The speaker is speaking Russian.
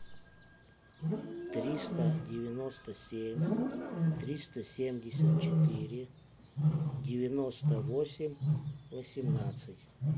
триста девяносто семь триста семьдесят четыре девяносто восемь восемнадцать